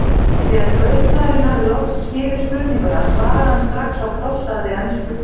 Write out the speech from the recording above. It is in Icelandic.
Þegar kaupmaðurinn hafði loks skilið spurninguna svaraði hann strax á klossaðri ensku